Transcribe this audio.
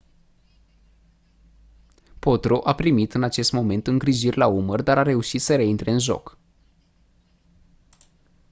potro a primit în acest moment îngrijiri la umăr dar a reușit să reintre în joc